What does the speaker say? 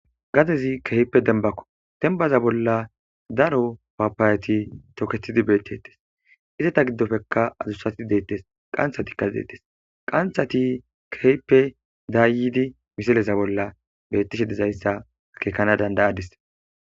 Gadezi keehippe dembbako; dembbaza bolla daro pappayati tokeththide beeththeeththees; izata giddoppekka adussathi beeththees;qanththathikka beeththees; qanththathikka keehippe daayidi misleta bolla beeththishidezayssa akeekana danddayaades.